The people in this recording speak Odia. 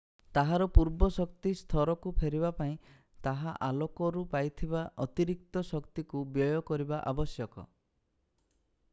ତାହାର ପୂର୍ବ ଶକ୍ତି ସ୍ତରକୁ ଫେରିବା ପାଇଁ ତାହା ଆଲୋକରୁ ପାଇଥିବା ଅତିରିକ୍ତ ଶକ୍ତିକୁ ବ୍ୟୟ କରିବା ଆବଶ୍ୟକ